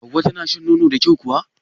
Hauwa tana shan nono da kyau kuwa?